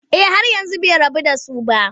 Eh har yanzu bai rabu da su ba.